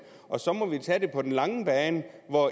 og så må vi tage det andet på den lange bane